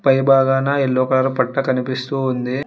పై బాగాన yellow colour పట్ట కనిపిస్తూ ఉంది.